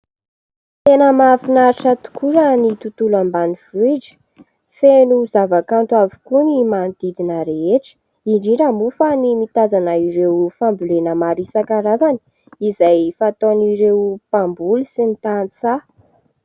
Tena mahafinaritra tokoa raha ny tontolo ambanivohitra, feno zavakanto avokoa ny manodidina rehetra indrindra moa fa ny mitazana ireo fambolena maro isan-karazany izay fataon'ireo mpamboly sy ny tantsaha.